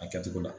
A kɛcogo la